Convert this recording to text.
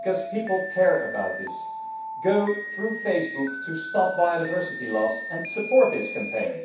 because people care about this. Go through Facebook to stop biodiversity loss and support this campaign.